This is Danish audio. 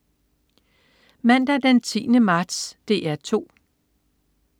Mandag den 10. marts - DR 2: